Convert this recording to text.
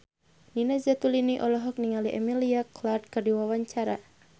Nina Zatulini olohok ningali Emilia Clarke keur diwawancara